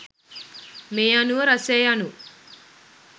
මේ අනුව රසය යනු